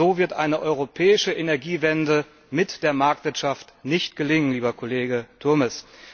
So wird eine europäische Energiewende mit der Marktwirtschaft nicht gelingen, lieber Kollege Turmes!